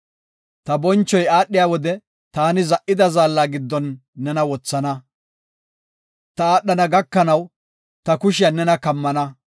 Ta bonchoy aadhiya wode taani za77ida zaalla giddon nena wothana. Ta aadhana gakanaw ta kushiyan nena kammana.